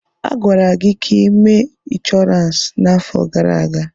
A gwara gị ka ị mee inshọransi n'afọ gara aga.